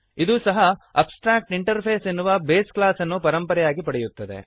ಇದೂ ಸಹ ಅಬ್ಸ್ಟ್ರಾಕ್ಟಿಂಟರ್ಫೇಸ್ ಎನ್ನುವ ಬೇಸ್ ಕ್ಲಾಸ್ ಅನ್ನು ಪರಂಪರೆಯಾಗಿ ಪಡೆಯುತ್ತದೆ